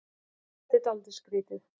Jú, þetta var dálítið skrýtið.